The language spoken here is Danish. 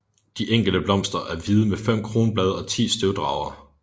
De enkelte blomster er hvide med fem kronblade og 10 støvdragere